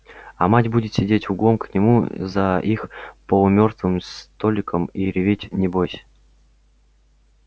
а мать будет сидеть углом к нему за их полумёртвым столиком и реветь небось